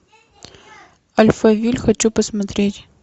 альфавиль хочу посмотреть